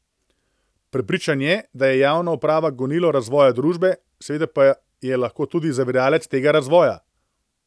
Prepričan je, da je javna uprava gonilo razvoja družbe, seveda pa je lahko tudi zaviralec tega razvoja.